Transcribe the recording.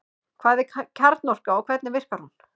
Hvað er kjarnorka og hvernig virkar hún?